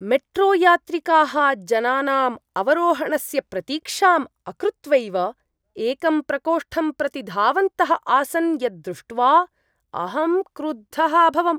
मेट्रोयात्रिकाः जनानाम् अवरोहणस्य प्रतीक्षां अकृत्वैव एकं प्रकोष्ठं प्रति धावन्तः आसन् यद् दृष्ट्वा अहं क्रुद्धः अभवम् ।